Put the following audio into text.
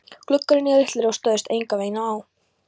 Gluggarnir litlir og stóðust enganveginn á.